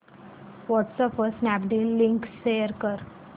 WhatsApp वर Snapdeal link share कर